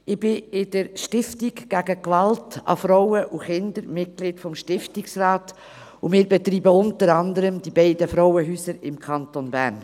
Ich bin Mitglied des Stiftungsrats der Stiftung gegen Gewalt an Frauen und Kindern, und wir betreiben unter anderem die beiden Frauenhäuser im Kanton Bern.